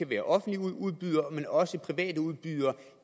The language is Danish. være offentlige udbydere men også private udbydere